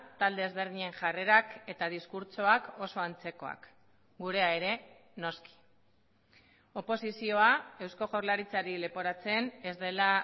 talde ezberdinen jarrerak eta diskurtsoak oso antzekoak gurea ere noski oposizioa eusko jaurlaritzari leporatzen ez dela